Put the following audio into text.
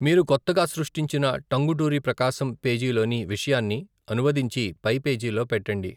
మీరు కొత్తగా సృష్టించిన టంగుటూరి ప్రకాశం పేజీ లోని విషయాన్ని అనువదించి పై పేజీలో పెట్టండి.